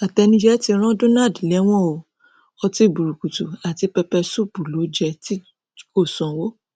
àtẹnujẹ ti ran donald lẹwọn o ọtí burúkutu àti pẹpẹ ṣuùpù ló jẹ tí kò sanwó